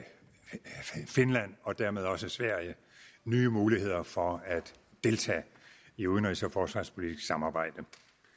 finland og dermed også sverige nye muligheder for at deltage i udenrigs og forsvarspolitisk samarbejde